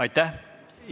Aitäh!